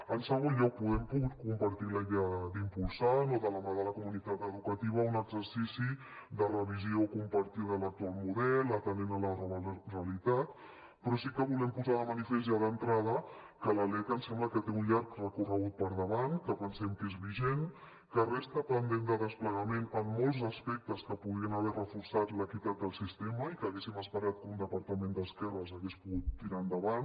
en segon lloc hem pogut compartir la idea d’impulsar no de la mà de la comunitat educativa un exercici de revisió compartida de l’actual model atenent a la nova realitat però sí que volem posar de manifest ja d’entrada que la lec ens sembla que té un llarg recorregut per davant que pensem que és vigent que resta pendent de desplegament en molts aspectes que podrien haver reforçat l’equitat del sistema i que haguéssim esperat que un departament d’esquerres hagués pogut tirar endavant